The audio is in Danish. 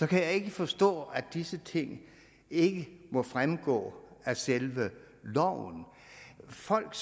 kan jeg ikke forstå at disse ting ikke må fremgå af selve loven folk